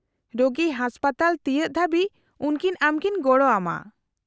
-ᱨᱳᱜᱤ ᱦᱟᱥᱯᱟᱛᱟᱞ ᱛᱤᱭᱟᱹᱜ ᱫᱷᱟᱹᱵᱤᱡ ᱩᱱᱠᱤᱱ ᱟᱢᱠᱤᱱ ᱜᱚᱲᱚ ᱟᱢᱟ ᱾